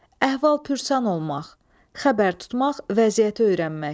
Əhval-pürsan olmaq, xəbər tutmaq, vəziyyəti öyrənmək.